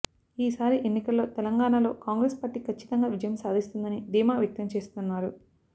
ఈసారి ఎన్నికల్లో తెలంగాణలో కాంగ్రెస్ పార్టీ ఖచ్చితంగా విజయం సాధిస్తుందని ధీమా వ్యక్తం చేస్తున్నారు